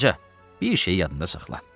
Qoca, bir şeyi yadında saxla.